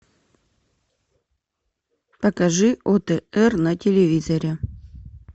покажи отр на телевизоре